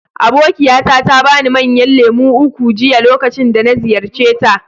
Abokiyata ta ba ni manyan lemu uku jiya lokacin da na ziyarce ta.